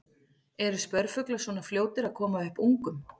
Eru spörfuglar svona fljótir að koma upp ungum?